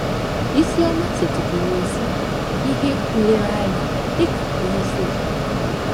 Isioma setịpụrụ ezi ihe nlereanya dị ka onyeisi ezinụlọ